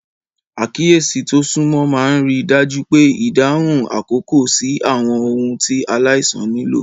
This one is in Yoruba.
Àkíyèsí tó súnmọ́ máa ń rí i dájú pé ìdáhùn àkókò sí àwọn ohun tí aláìsàn nílò.